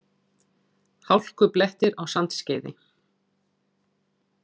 Hálkublettir á Sandskeiði